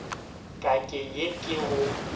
ka ke ye ke go